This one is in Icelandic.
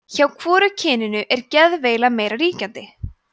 hjá hvoru kyninu er geðveila meira ríkjandi